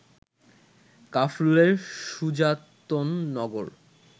কাফরুলের Sujatnagar